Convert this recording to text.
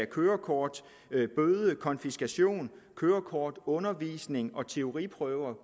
kørekort bøder konfiskation kørekortundervisning både teoriprøver